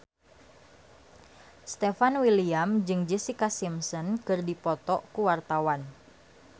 Stefan William jeung Jessica Simpson keur dipoto ku wartawan